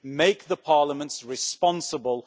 Make the parliaments responsible